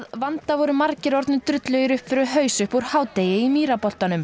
vanda voru margir orðnir drullugir upp fyrir haus upp úr hádegi í